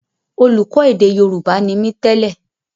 Olùkọ́ èdè Yorùbá ni mí tẹ́lè